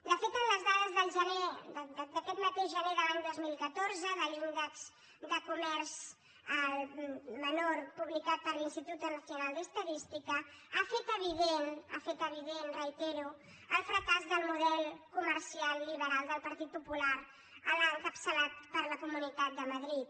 de fet les dades de gener d’aquest mateix gener de l’any dos mil catorze de l’índex de comerç al menor publicat per l’instituto nacional de estadística han fet evident han fet evident ho reitero el fracàs del model comercial liberal del partit popular l’encapçalat per la comunitat de madrid